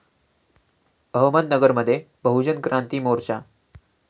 अहमदनगरमध्ये बहुजन क्रांती मोर्चा